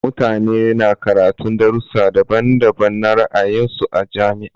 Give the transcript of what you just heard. Mutane na karatun darussa daban-daban na ra'ayin su a jami'a.